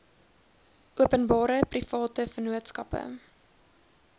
openbare private vennootskappe